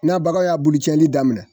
N'a baga y'a bulu cɛni daminɛ.